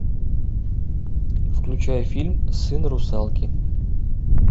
включай фильм сын русалки